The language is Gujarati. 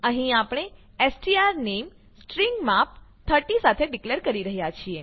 અહીં આપણે સ્ટ્રોનેમ સ્ટ્રીંગ માપ 30 સાથે ડીકલેર કરી રહ્યા છીએ